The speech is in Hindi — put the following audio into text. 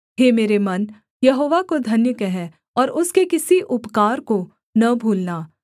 हे मेरे मन यहोवा को धन्य कह और उसके किसी उपकार को न भूलना